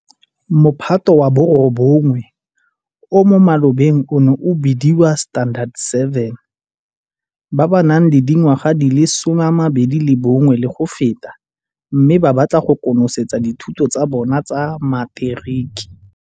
Mophato wa bo 9, o mo malobeng o neng o bediwa Standard 7, ba ba nang le dingwaga di le 21 le go feta, mme ba batla go konosetsa dithuto tsa bona tsa materiki.